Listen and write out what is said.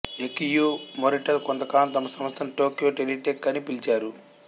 Akio Morita కొంత కాలం తమ సంస్థని టోక్యో టెలిటెక్ అని పిలిచారు